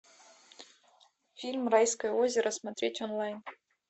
фильм райское озеро смотреть онлайн